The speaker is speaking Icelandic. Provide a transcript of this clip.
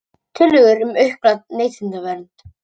Tillögur um aukna neytendavernd